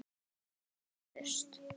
Vonandi sem fyrst.